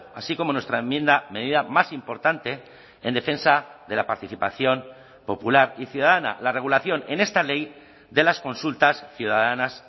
así como nuestra enmienda medida más importante en defensa de la participación popular y ciudadana la regulación en esta ley de las consultas ciudadanas